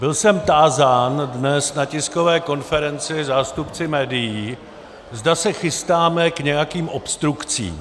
Byl jsem tázán dnes na tiskové konferenci zástupci médií, zda se chystáme k nějakým obstrukcím.